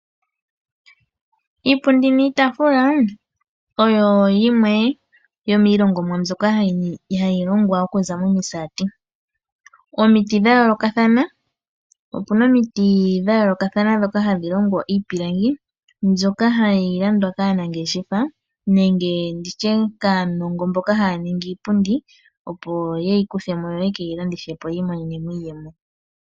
Iipundi niitafula, oyo yimwe yomiilongomwa mbyoka hayi longwa oku za momisaati. Omiti dha yoolokathana, opuna omiti dha yoolokathana dhoka hadhi longo iipilangi, mbyoka hayi landwa kaanangeshefa nenge ndishe kaanongo mboka haa ningi iipundi opo ye yi kuthemo yo yeke yi landithepo yiimonenemo iiyemo.